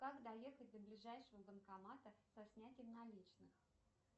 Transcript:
как доехать до ближайшего банкомата со снятием наличных